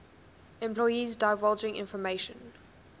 employees divulging information